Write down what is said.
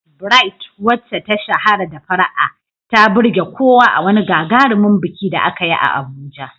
Bright, wacce ta shahara da fara'a, ta burge kowa a wani gagarumin biki da aka yi a Abuja.